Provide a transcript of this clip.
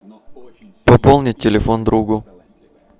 пополнить телефон другу